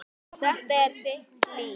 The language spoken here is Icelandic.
Þetta er þitt líf